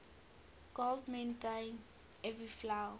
god mend thine every flaw